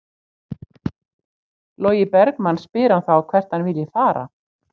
Logi Bergmann spyr hann þá hvert hann vilji fara?